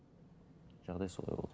жағдай солай болды